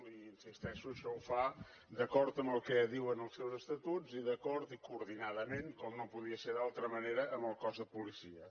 i hi insisteixo això ho fa d’acord amb el que diuen els seus estatuts i d’acord i coordinadament com no podia ser d’altra manera amb el cos de policia